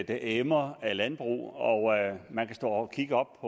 der emmer af landbrug man kan stå og kigge op